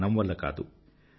ధనం వల్ల కాదు